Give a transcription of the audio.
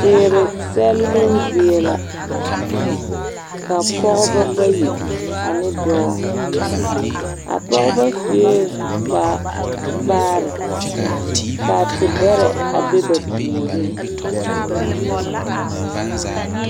Teere sɛlloo zie la, ka pɔgebɔ bayi ane dɔɔ, a pɔgebɔ sue kpar vaare. K'a tebɛrɛ a be ba puoriŋ.